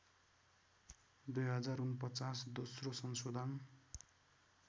२०४९ दोश्रो संसोधन